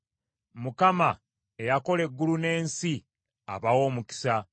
Mukama , eyakola eggulu n’ensi, abawe omukisa.